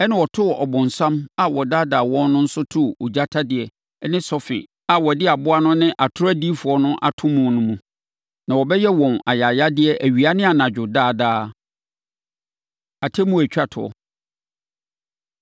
Ɛnna wɔtoo ɔbonsam a ɔdaadaa wɔn no nso too ogya tadeɛ ne sɔfe a wɔde aboa no ne atorɔ odiyifoɔ no ato mu no mu. Na wɔbɛyɛ wɔn ayayadeɛ awia ne anadwo daa daa. Atemmuo A Ɛtwa Toɔ